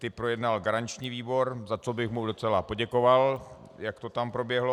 Ty projednal garanční výbor, za což bych mu docela poděkoval, jak to tam proběhlo.